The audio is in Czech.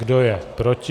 Kdo je proti?